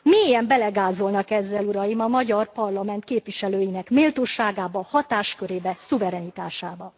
Mélyen belegázolnak ezzel uraim, a magyar parlament képviselőinek méltóságába, hatáskörébe, szuverenitásába.